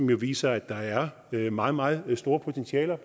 den viser at der er meget meget meget store potentialer